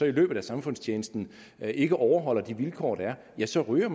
i løbet af samfundstjenesten ikke overholder de vilkår der er altså ryger